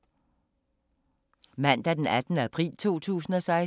Mandag d. 18. april 2016